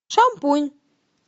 шампунь